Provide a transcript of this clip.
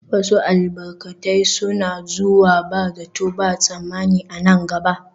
Wasu albarkatai suna zuwa ba zato ba tsammani a nan gaba